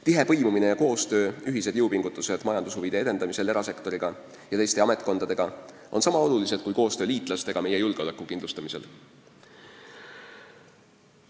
Tihe põimumine ja koostöö, ühised jõupingutused majandushuvide edendamisel erasektoriga ja teiste ametkondadega on sama olulised kui koostöö liitlastega meie julgeoleku kindlustamisel.